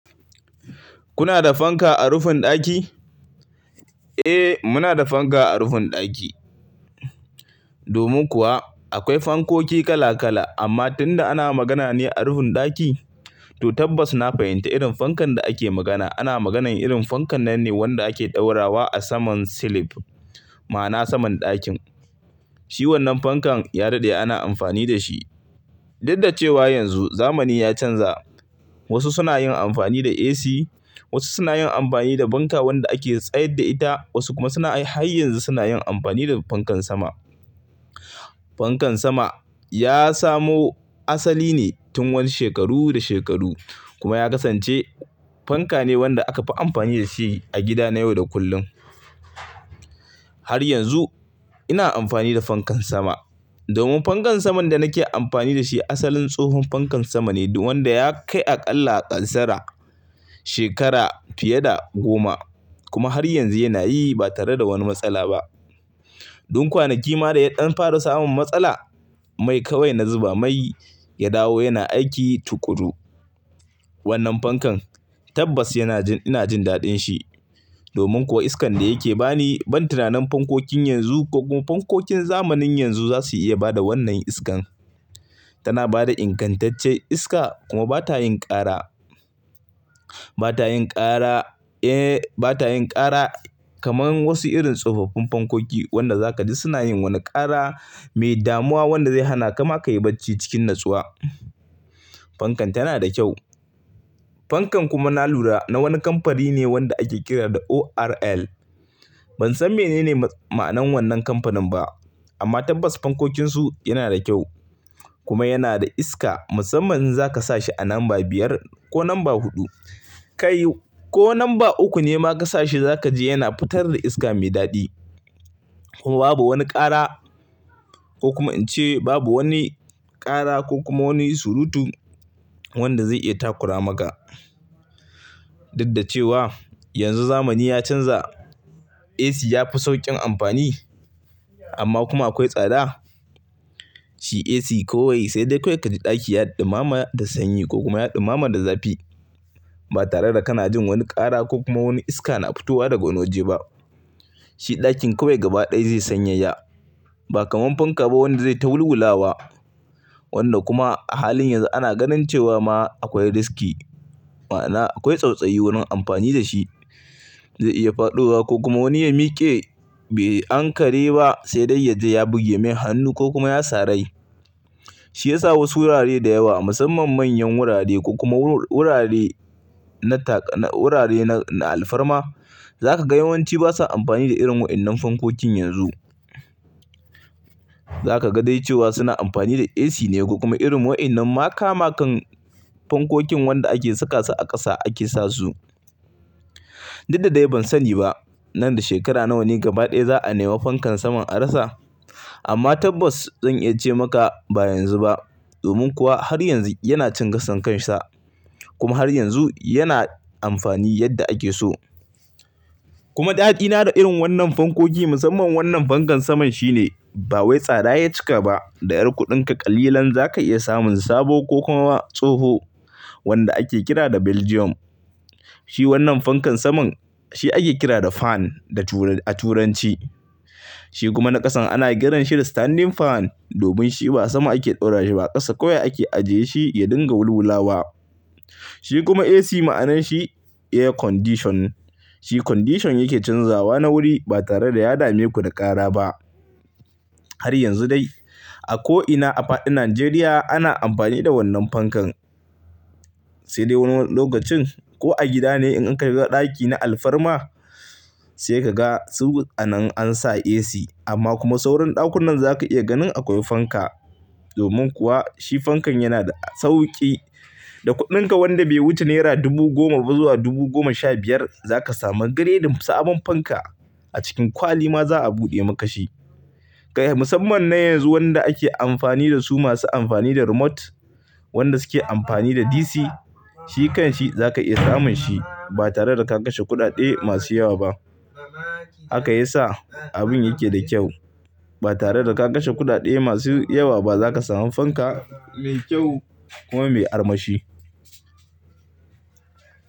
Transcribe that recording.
Kuna da fanka a rufin ɗaki? Eh, muna da fanka a rufin ɗaki. Domin kuwa akwai fankoki kala kala, amma tun da ana magana ne a rufin ɗaki, to tabbas na fahimta irin fankan da ake magana. Ana maganar irin fankan nan ne wanda ake ɗora wa a saman silif, ma'ana saman ɗakin. Shi wannan fankan ya daɗe ana amfani da shi. Duk da cewa yanzu zamani ya canza. Wasu suna yin amfani da AC, wasu suna yin amfani da fanka wanda ake tsayar da ita, wasu kuma suna har yanzu suna yin amfani da fankan sama. Fankan sama ya samo asali ne tun wani shekaru da shekaru kuma ya kasance fanka ne wanda aka fi amfani da shi a gida na yau da kullum. Har yanzu ina amfani da fankan sama. Domin fankan saman da nake amfani da shi asalin tsohon fankan sama ne wanda ya kai a ƙalla a ƙasara shekara fiye da goma kuma har yanzu yana yi ba tare da wani matsala ba. Don kwanaki ma da ya ɗan fara samun matsala, mai kawai na zuba mai ya dawo yana aiki tuƙuru. Wannan fankan tabbas yana jin, ina jin daɗin shi. Domin kuwa iskan da yake ba ni ban tunanin fankokin yanzu ko kuma fankokin zamanin yanzu za su iya ba da wannan iskan. Tana ba da ingantaccen iska kuma ba ta yin ƙara. Ba ta yin ƙara, eh ba ta yin ƙara kamar wasu irin tsofaffin fankoki wanda za ka ji suna yin wani ƙara mai damuwa wanda zai hana ka ma ka yi bacci cikin natsuwa. Fankan tana da kyau. Fankan kuma na lura na wani kamfani ne wanda ake kira da ORL. Ban san menene ma'anar wannan kamfanin ba. Amma tabbas fankokinsu yana da kyau kuma yana da iska. Musamman in za ka sa shi a lamba biyar ko lamba huɗu, kai ko lamba uku ne ma ka sa shi za ka ji yana fitar da iska mai daɗi. Kuma babu wani ƙara ko kuma in ce babu wani ƙara ko kuma wani surutu wanda zai iya takura maka. Duk da cewa yanzu zamani ya canza. AC ya fi sauƙin amfani amma kuma akwai tsada. Shi AC kawai sai dai kawai ka ji ɗaki ya ɗumama da sanyi ko kuma ya ɗumama da zafi ba tare da kana jin wani ƙara ko kuma wani iska na fitowa daga wani waje ba. Shi ɗakin kawai gaba ɗaya zai sanyaya. Ba kamar fanka ba wanda zai ta wulwula wa. Wanda kuma a halin yanzu ana ganin cewa ma akwai riski, ma'ana akwai tsautsayi wurin amfani da shi. Zai iya faɗowa ko kuma wani ya miƙe bai ankare ba sai dai ya je ya buge mai hannu ko kuma ya sarai. Shi ya sa wasu wurare da yawa musamman manyan wurare ko kuma wurare na tak-- wurare na alfarma za ka ga yawanci ba sa amfani da irin wa'innan fankokin yanzu. Za ka ga dai cewa suna amfani da AC ne ko kuma irin wa'innan maka makan fankokin wanda ake saka su a ƙasa ake sa su. Duk da dai ban sani ba nan da shekara nawa ne gaba ɗaya za a nema fankan saman a rasa. Amma tabbas zan iya ce maka ba yanzu ba. Domin kuwa har yanzu yana cin gason kansa kuma har yanzu yana amfani yadda ake so. Kuma ɗaɗina da irin wannan fankoki musamman wannan fankan saman shine ba wai tsada ya cika ba da ƴar kuɗinka ƙalilan za ka iya samun sabo ko kuma ma tsoho wanda ake kira da Belgium. Shi wannan fankan saman shi ake kira da fan a turanci. Shi kuma na ƙasan ana kiranshi da standing fan domin shi ba a sama ake ɗora shi ba ƙasa kawai ake ajiye shi ya dinga wulwula wa. Shi kuma AC ma'anan shi Air Condition. Shi condition yake canzawa na wuri ba tare da ya dame ku da ƙara ba. Har yanzu dai a ko'ina a fadin Najeriya ana amfani da wannan fankan. Sai dai wani lokacin ko a gida ne in ka shiga ɗaki na alfarma sai ka ga su anan an sa AC amma kuma sauran ɗakunan za ka iya ganin akwai fanka. Domin kuwa shi fankan yana da sauƙi. Da kuɗinka wanda bai wuce naira dubu goma ba zuwa dubu goma sha biyar za ka samu gredin sabon fanka. A cikin kwali ma za a buɗe maka shi. Kai musamman na yanzu wanda ake amfani da su masu amfani da remote, wanda suke amfani da DC, shi kanshi za ka iya samun shi ba tare da ka kashe kuɗaɗe masu yawa ba. Haka ya sa abun yake da kyau. Ba tare da ka kashe kuɗaɗe masu yawa ba za ka samu fanka mai kyau kuma mai armashi.